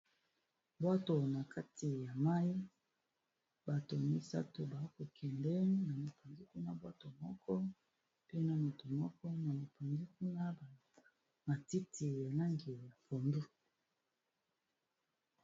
Bwato na kati ya mayi bato misato ba kokende na mupanzi kuna bwato moko pe na moto moko na mupanzi kuna matiti na langi ya pondu.